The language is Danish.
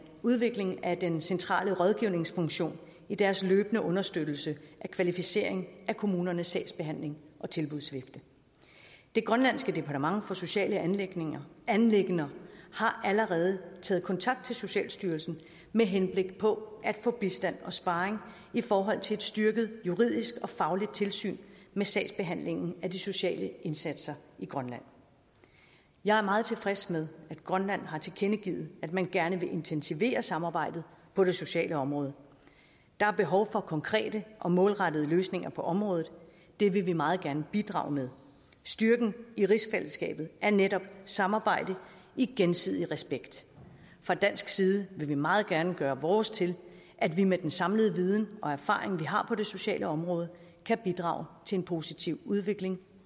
udvikling af den centrale rådgivningsfunktion i deres løbende understøttelse af kvalificering af kommunernes sagsbehandling og tilbudsvifte det grønlandske departement for sociale anliggender anliggender har allerede taget kontakt til socialstyrelsen med henblik på at få bistand og sparring i forhold til et styrket juridisk og fagligt tilsyn med sagsbehandlingen af de sociale indsatser i grønland jeg er meget tilfreds med at grønland har tilkendegivet at man gerne vil intensivere samarbejdet på det sociale område der er behov for konkrete og målrettede løsninger på området det vil vi meget gerne bidrage med styrken i rigsfællesskabet er netop samarbejde i gensidig respekt fra dansk side vil vi meget gerne gøre vores til at vi med den samlede viden og erfaring vi har på det sociale område kan bidrage til en positiv udvikling